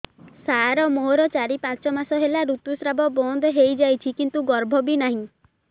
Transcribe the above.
ସାର ମୋର ଚାରି ପାଞ୍ଚ ମାସ ହେଲା ଋତୁସ୍ରାବ ବନ୍ଦ ହେଇଯାଇଛି କିନ୍ତୁ ଗର୍ଭ ବି ନାହିଁ